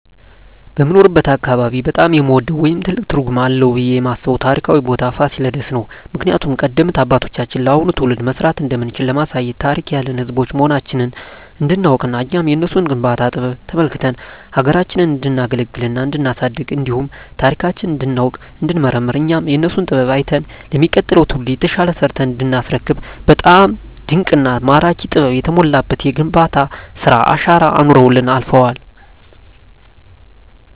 በምኖርበት አካባቢ በጣም የምወደው ወይም ትልቅ ትርጉም አለዉ ብየ የማስበው ታሪካዊ ቦታ ፋሲለደስ ነው። ምክንያቱም ቀደምት አባቶቻችን ለአሁኑ ትውልድ መስራት እንደምንችል ለማሳየት ታሪክ ያለን ህዝቦች መሆናችንን እንዲናውቅና እኛም የነሱን የግንባታ ጥበብ ተመልክተን ሀገራችንን እንዲናገለግልና እንዲናሳድግ እንዲሁም ታሪካችንን እንዲናውቅ እንዲንመራመር እኛም የነሱን ጥበብ አይተን ለሚቀጥለው ትውልድ የተሻለ ሰርተን እንዲናስረክብ በጣም ድንቅና ማራኪ ጥበብ የተሞላበት የግንባታ ስራ አሻራ አኑረውልን አልፈዋል።